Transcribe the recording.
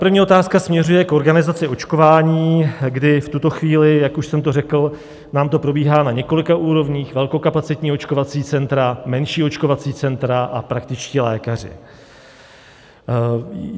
První otázka směřuje k organizaci očkování, kdy v tuto chvíli, jak už jsem tu řekl, nám to probíhá na několika úrovních: velkokapacitní očkovací centra, menší očkovací centra a praktičtí lékaři.